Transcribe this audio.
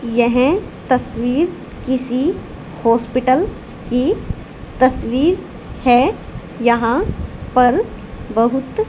यह तस्वीर किसी हॉस्पिटल की तस्वीर है यहां पर बहुत--